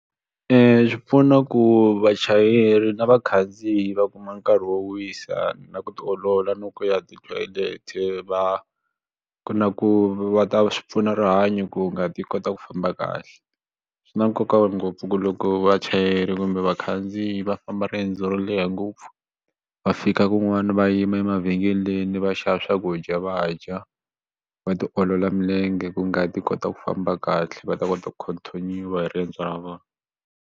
Swi pfuna ku vachayeri na vakhandziyi va kuma nkarhi wo wisa na ku tiolola no ku ya ti-toilet va ku na ku va ta swi pfuna rihanyo ku nga ti kota ku famba kahle. Swi na nkoka ngopfu ku loko vachayeri kumbe vakhandziyi va famba riendzo ro leha ngopfu va fika kun'wana va yima emavhengeleni va xava swakudya va dya va tiolola milenge ku ngati yi kota ku famba kahle va ta kota ku continue-wa hi riendzo ra vona.